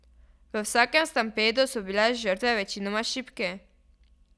V vsakem stampedu so bile žrtve večinoma šibki.